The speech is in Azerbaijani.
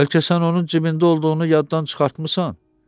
Bəlkə sən onun cibində olduğunu yaddan çıxartmısan?